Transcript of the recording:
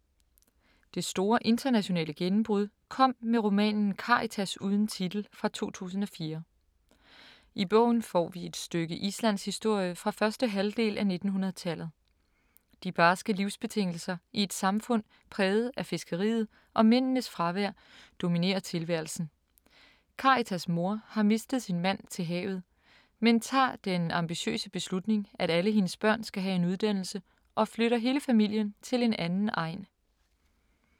Det store internationale gennembrud kom med romanen Karitas uden titel fra 2004. I bogen får vi et stykke islandshistorie fra første halvdel af 1900-tallet. De barske livsbetingelser i et samfund præget af fiskeriet og mændenes fravær dominerer tilværelsen. Karitas mor har mistet sin mand til havet, men tager den ambitiøse beslutning, at alle hendes børn skal have en uddannelse og flytter hele familien til en anden egn.